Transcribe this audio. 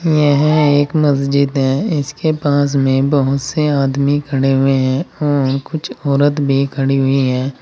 यह एक मस्जिद है इसके पास में बहुत से आदमी खड़े हुए हैं और कुछ औरत भी खड़ी हुई है।